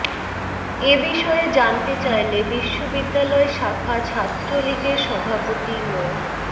এ বিষয়ে জানতে চাইলে বিশ্ববিদ্যালয় শাখা ছাত্রলীগের সভাপতি মো